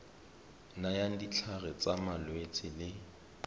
nayang ditlhare tsa malwetse le